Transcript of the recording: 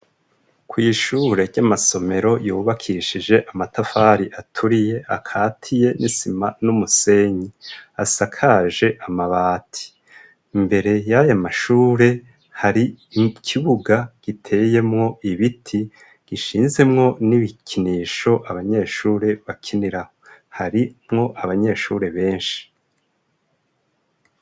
Kw'ishure ry'amasomero yubakishije amatafari aturiye akati ye n'isima n'umusenyi asakaje amabati. Mbere y'ayo mashure hari ikibuga giteyemwo ibiti gishinzemwo n'ibikinisho abanyeshure bakiniraho harimwo abanyeshuri benshi.